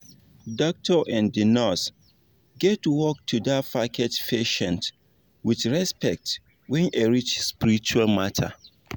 doctor and nurse get work to da package patient with respect wen e reach spiritual matter